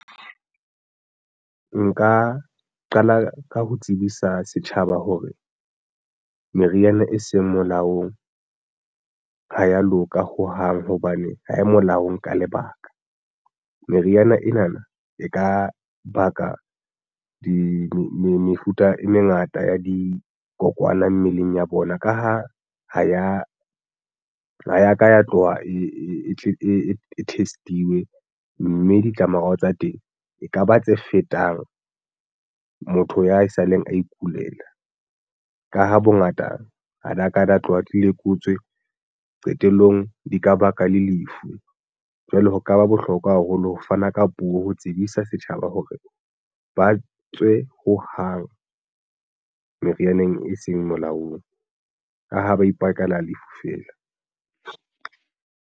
Nka qala ka ho tsebisa setjhaba hore meriana e seng molaong ha ya loka hohang hobane ha e molaong ka lebaka. Meriana ena na e ka baka di mefuta e mengata ya dikokwana mmeleng ya bona ka ha, ha ya ka ya tloha e test-iwe, mme ditlamorao tsa teng ekaba tse fetang motho ya saleng a ikulela ka ha bongata ha la ka la tloha di lekotswe qetellong di ka baka le lefu. Jwale ho ka ba bohlokwa haholo ho fana ka puo ho tsebisa setjhaba hore ba tswe ho hang merianeng e seng molaong ka hoo, ba ipakela lefu feela.